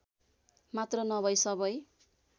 मात्र नभै सबै